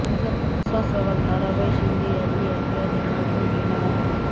असा सवाल ताराबाई शिंदे यांनी आपल्या लेखनातून केला आहे